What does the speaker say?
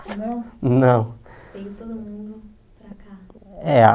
Não Não Vem todo mundo para cá? É a